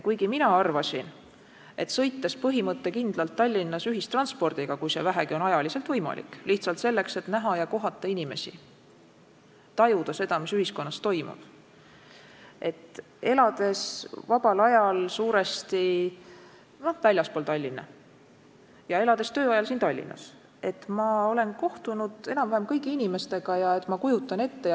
Varem ma arvasin, et sõites põhimõttekindlalt Tallinnas ühistranspordiga, kui see vähegi on ajaliselt võimalik, lihtsalt selleks, et näha ja kohata inimesi, tajuda seda, mis ühiskonnas toimub, ning elades vabal ajal suuresti väljaspool Tallinna ja elades tööajal siin Tallinnas, ma olen kohtunud enam-vähem kõigi inimestega ja kujutan ette, mis toimub.